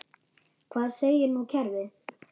Hvað segir nú kerfið?